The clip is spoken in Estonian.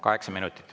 Kaheksa minutit.